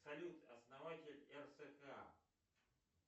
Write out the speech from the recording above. салют основатель рск